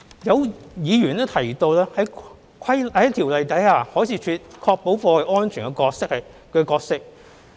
有議員提及在《條例》下海事處確保貨櫃安全的角色。